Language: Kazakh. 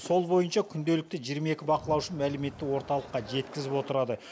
сол бойынша күнделікті жиырма екі бақылаушы мәліметті орталыққа жеткізіп отырады